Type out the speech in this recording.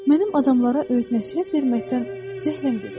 Mənim adamlara öyüd nəsihət verməkdən zəhləm gedib.